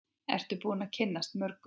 Ertu búin að kynnast mörgum?